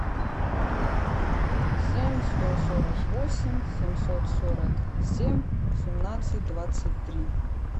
семь сто сорок восемь семьсот сорок семь семнадцать двадцать три